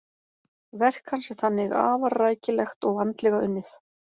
Verk hans er þannig afar rækilegt og vandlega unnið.